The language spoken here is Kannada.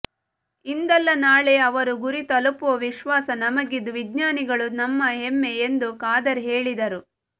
ಇಂದಲ್ಲ ನಾಳೆ ಅವರು ಗುರಿ ತಲುಪುವ ವಿಶ್ವಾಸ ನಮಗಿದ್ದು ವಿಜ್ಞಾನಿಗಳು ನಮ್ಮ ಹೆಮ್ಮೆ ಎಂದು ಖಾದರ್ ಹೇಳಿದರು